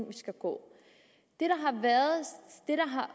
vi skal gå det